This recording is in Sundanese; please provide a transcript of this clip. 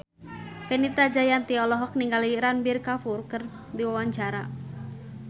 Fenita Jayanti olohok ningali Ranbir Kapoor keur diwawancara